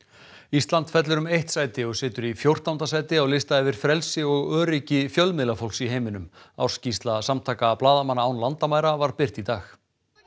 ísland fellur um eitt sæti og situr í fjórtánda sæti á lista yfir frelsi og öryggi fjölmiðlafólks í heiminum ársskýrsla samtaka blaðamanna án landamæra var birt í dag